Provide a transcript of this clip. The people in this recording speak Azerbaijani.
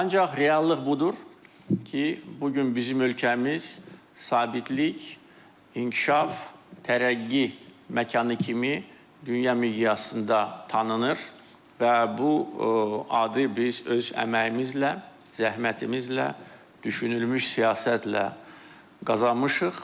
Ancaq reallıq budur ki, bu gün bizim ölkəmiz sabitlik, inkişaf, tərəqqi məkanı kimi dünya miqyasında tanınır və bu adı biz öz əməyimizlə, zəhmətimizlə, düşünülmüş siyasətlə qazanmışıq.